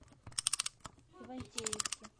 ивантеевки